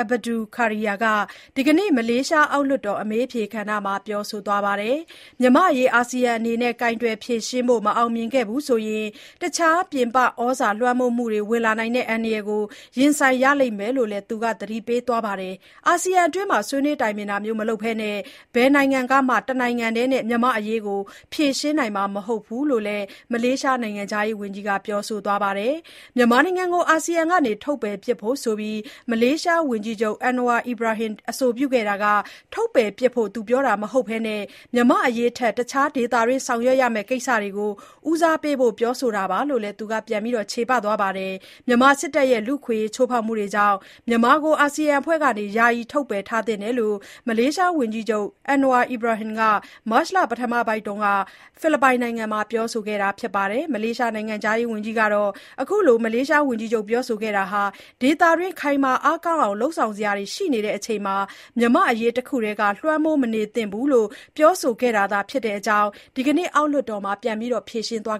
Abdul Kadir (ဇမ်ဘရီ အက်ဘဒူ ခါဒီရာ) က ဒီနေ့ မလေးရှား အောက်လွှတ်တော် အမေးအဖြေကဏ္ဍမှာ ပြောဆိုသွားပါတယ်။ မြန်မာ့အရေး အာဆီယံအနေနဲ့ ကိုင်တွယ်ဖြေရှင်းဖို့ မအောင်မြင်ခဲ့ဘူးဆိုရင် တခြားပြင်ပဩဇာလွှမ်းမိုးမှုတွေ ဝင်လာနိုင်တဲ့ အန္တရာယ်ကို ရင်ဆိုင်ရလိမ့်မယ်လို့လည်း သူက သတိပေးသွားပါတယ်။ အာဆီယံအတွင်း ဆွေးနွေးတိုင်ပင်တာမျိုး မလုပ်ဘဲနဲ့ ဘယ်နိုင်ငံကမှ တနိုင်ငံတည်းနဲ့ မြန်မာ့အရေးကို ဖြေရှင်းနိုင်မှာ မဟုတ်ဘူးလိုလည်း မလေးရှား နိုင်ငံခြားရေးဝန်ကြီးက ပြောဆိုသွားပါတယ်။ မြန်မာနိုင်ငံကို အာဆီယံက ထုတ်ပယ်ပစ်ဖို့ဆိုပြီး မလေးရှား ဝန်ကြီးချုပ် Anwar Ibrahim အဆိုပြုခဲ့တာဟာ ထုတ်ပယ်ပစ်ဖို့ပြောတာ မဟုတ်ဘဲ မြန်မာ့အရေးထက် တခြား ဒေသတွင်းဆောင်ရွက်ရမယ့် ကိစ္စတွေကို ဦးစားပေးဖို့ ပြောဆိုတာလိုလည်း သူက ပြန်လည်ချေပသွားပါတယ်။ မြန်မာစစ်တပ်ရဲ့ လူ့အခွင့်အရေး ချိုးဖောက်မှုတွေကြောင့်မြန်မာကို အာဆီယံအဖွဲ့ထဲက ယာယီထုတ်ပယ်ထားသင့်တယ်လို့ မလေးရှားဝန်ကြီးချုပ် Anwar Ibrahim က မတ်လပထမပတ်အတွင်း ဖိလစ်ပိုင်နိုင်ငံမှာ ပြောဆိုခဲ့ပါတယ်။ မလေးရှား နိုင်ငံခြားဝန်ကြီးကတော့ ဝန်ကြီးချုပ် Anwar Ibrahim ပြောဆိုခဲ့တာဟာ ဒေသတွင်း ခိုင်မာအားကောင်းအောင် လုပ်ဆောင်စရာတွေ ရှိနေချိန်မှာ မြန်မာ့အရေးတခုထဲက လွှမ်းမိုးမနေသင့်ဘူးလို့ ပြောဆိုခဲ့တာသာ ဖြစ်တယ်လို့ ဒီကနေ့ အောက်လွှတ်တော်မှာ ပြန်လည်ဖြေရှင်းသွား